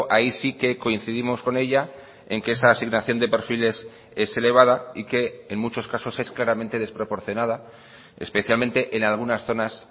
ahí sí que coincidimos con ella en que esa asignación de perfiles es elevada y que en muchos casos es claramente desproporcionada especialmente en algunas zonas